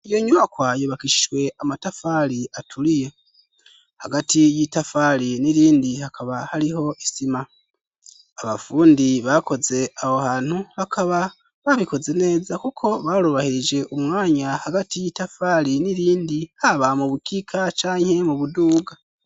Iyo nyubakwa yubakishijwe amatafari aturiye. Hagati y'itafari n'irindi hakaba hariho isima. Abafundi bakoze aho hantu bakaba babikoze neza kuko barubahirije umwanya hagati y'itafari n'irindi haba mu bukika canke mu buduga.